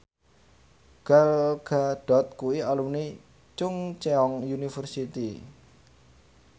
Gal Gadot kuwi alumni Chungceong University